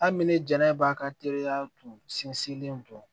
Hali ni ne jɛnɛ b'a ka teriya tun sinsinlen to